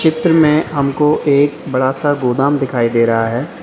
चित्र में हमको एक बड़ा सा गोदाम दिखाई दे रहा है।